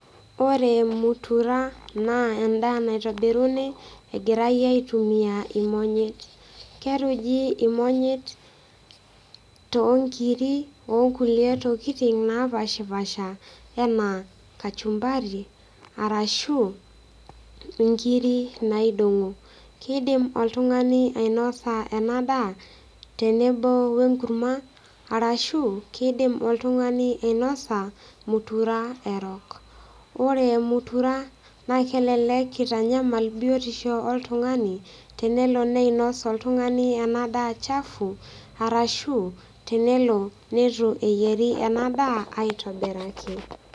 Oore mutura naa en'daa naitobiruni egirae aitumia imonyit. Keruji imonyit tonkiri, onkulie tokitin napaashipaasha enaa kachumbari, arashu inkiri naidong'o. Keidim oltung'ani ainosa eena daa tenebo wenkurma, arasshu keidim oltung'ani ainosa mutura erok. Iyiolo mutura naa kelelek eitanyamal biotisho oltung'ani, tenelo neinos oltung'ani eena daa chafu, arashu tenelo neitu eyieri eena daa aitobiraki.